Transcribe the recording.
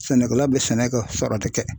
Sɛnɛkɛla bɛ sɛnɛ kɛ sɔrɔ